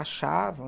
achavam.